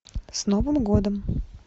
с новым годом